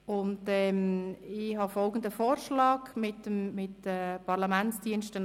Ich habe mit den Parlamentsdiensten zusammen folgenden Vorschlag ausgearbeitet: